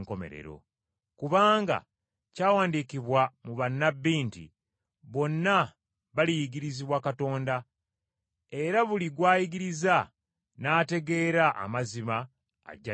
Kubanga kyawandiikibwa mu bannabbi nti, ‘Bonna baliyigirizibwa Katonda.’ Era buli gw’ayigiriza n’ategeera amazima ajja gye ndi.